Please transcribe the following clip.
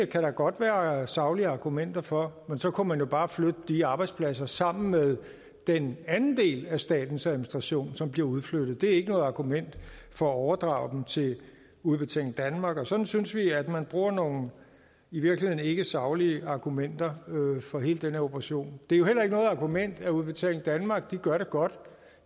der godt være saglige argumenter for men så kunne man jo bare flytte de arbejdspladser sammen med den anden del af statens administration som bliver udflyttet det er ikke noget argument for at overdrage dem til udbetaling danmark sådan synes vi at man bruger nogle i virkeligheden ikke saglige argumenter for hele den her operation det er jo heller ikke noget argument at udbetaling danmark gør det godt